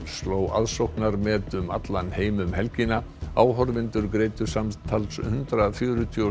sló aðsóknarmet um allan heim um helgina áhorfendur greiddu samtals hundrað fjörutíu og